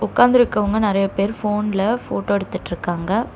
உக்காந்திருக்கவங்க நெறைய பேர் போன்ல ஃபோட்டோ எடுத்துட்ருக்காங்க.